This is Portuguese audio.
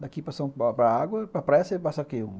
Daqui para a água, para a praia você passa o quê?